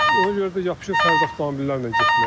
Ona görə də yapışır fərdi avtomobillərlə getməyə.